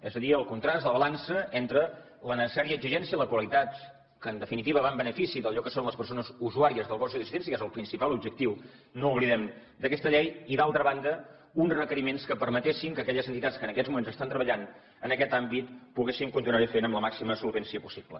és a dir el contrast la balança entre la necessària exigència i la qualitat que en definitiva va en benefici d’allò que són les persones usuàries dels gossos d’assistència que és el principal objectiu no ho oblidem d’aquesta llei i d’altra banda uns requeriments que permetessin que aquelles entitats que en aquests moments estan treballant en aquest àmbit poguessin continuar ho fent amb la màxima solvència possible